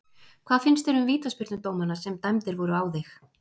Hvað finnst þér um vítaspyrnudómana sem dæmdir voru á þig?